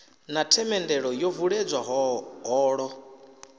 na themendelo yo vuledzwa holo